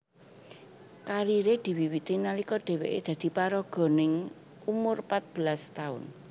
Kariré diwiwiti nalika dheweké dadi paraga ning umur pat belas taun